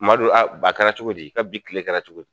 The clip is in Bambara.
Madu a ba a kɛra cogo di i ka bi kile kɛrɛ cogo di